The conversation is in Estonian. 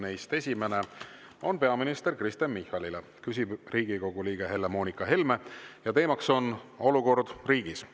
Esimene küsimus on peaminister Kristen Michalile, küsib Riigikogu liige Helle-Moonika Helme ja teema on olukord riigis.